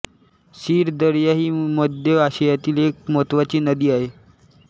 सीर Darya ही मध्य आशियातील एक महत्त्वाची नदी आहे